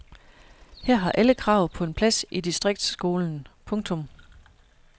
Her har alle krav på en plads i distriktsskolen. punktum